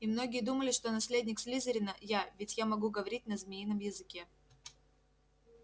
и многие думали что наследник слизерина я ведь я могу говорить на змеином языке